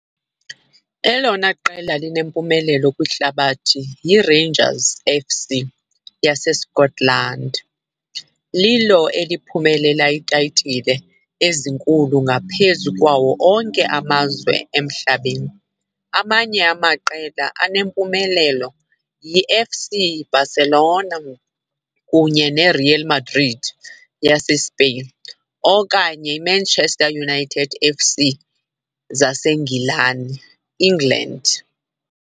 elona qela linempumelelo kwihlabathi yiRangers F.C. yaseScotland, lilo eliphumelele iitayitile ezinkulu ngaphezu kwawo onke amazwe emhlabeni. Amanye amaqela anempumelelo yiFC Barcelona kunye neReal Madrid yaseSpain, okanye eManchester United F.C. zaseNgilaneEngland.